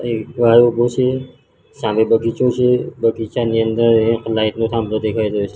એક ભાઈ ઉભો છે સામે બગીચો છે બગીચાની અંદર એક લાઈટ નો થાંબલો દેખાય રહ્યો છે.